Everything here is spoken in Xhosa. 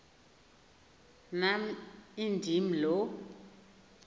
nam indim lo